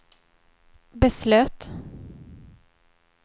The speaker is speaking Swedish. beslöt